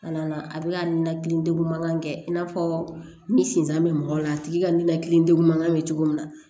Kana na a bɛ ka ninakili degun mankan kɛ i n'a fɔ ni sinzan bɛ mɔgɔ la a tigi ka ninakili degun mankan bɛ cogo min na